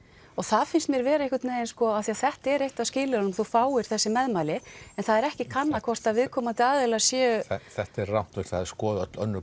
og það finnst mér vera einhvern veginn af því að þetta er eitt af skilyrðunum þú fáir þessi meðmæli en það er ekki kannað hvort að viðkomandi aðilar séu þetta er rangt og það er skoðað öll önnur